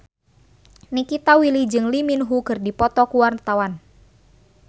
Nikita Willy jeung Lee Min Ho keur dipoto ku wartawan